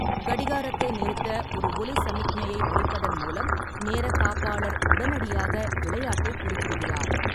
கடிகாரத்தை நிறுத்த ஒரு ஒலி சமிக்ஞையை ஒலிப்பதன் மூலம் நேரக்காப்பாளர் உடனடியாக விளையாட்டை குறுக்கிடுகிறார்.